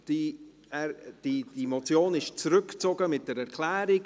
Die Motion wird nämlich zurückgezogen mit einer Erklärung.